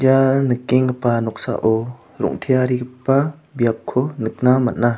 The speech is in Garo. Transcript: ia nikenggipa noksao rong·tearigipa biapko nikna man·a.